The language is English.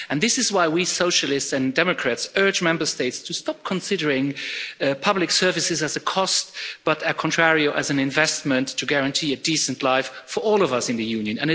This is why we Socialists and Democrats urge Member States to stop considering public services as a cost but, on the contrary, as an investment to guarantee a decent life for all of us in the Union.